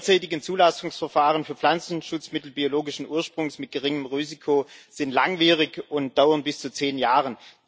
Die derzeitigen Zulassungsverfahren für Pflanzenschutzmittel biologischen Ursprungs mit geringem Risiko sind langwierig und dauern bis zu zehn Jahren.